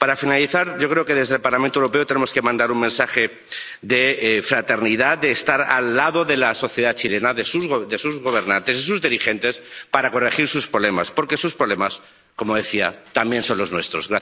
Para finalizar, yo creo que desde el Parlamento Europeo tenemos que mandar un mensaje de fraternidad para estar al lado de la sociedad chilena, de sus gobernantes y sus dirigentes para corregir sus problemas, porque sus problemas, como decía, también son los nuestros.